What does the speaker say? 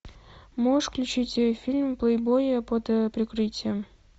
можешь включить фильм плейбой под прикрытием